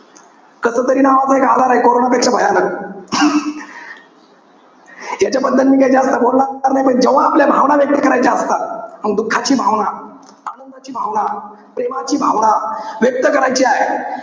कसतरी नावाचा एक आजारे. कोरोनापेक्षा भयानक. याच्याबद्दल मी काई जास्त बोलणार नाई. पण जेव्हा आपल्या भावना व्यक्त करायच्या असतात. मग दुःखाची भावना, आनंदाची भावना, प्रेमाची भावना. व्यक्त करायची आहे.